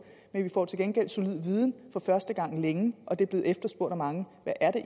men vi får til gengæld solid viden for første gang længe og det er blevet efterspurgt af mange hvad er det